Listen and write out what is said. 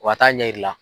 Wa taa ɲɛ yira i la